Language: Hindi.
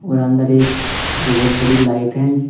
और अंदर एक बहुत बड़ी लाइट है।